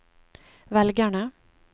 velgerne